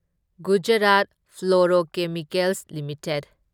Gujarat Fluorochemicals limited